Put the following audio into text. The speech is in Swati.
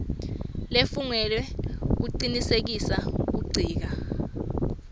lefungelwe lecinisekisa kuncika